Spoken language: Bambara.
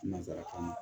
Nanzarakan na